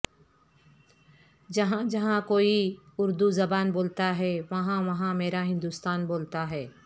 جہاں جہاں کوئی اردو زبان بولتا ہے وہاں وہاں میرا ہندوستان بولتا ہے